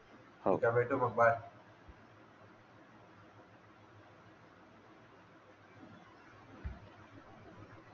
ठीक आहे भेटू मग बाय